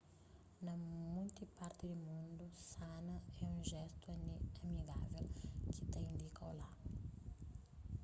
na monti parti di mundu sana é un jestu amigável ki ta indika olá